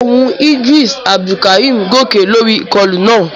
Ohùn Idris Abdulkarim gòkè lórí ìkọlù náà.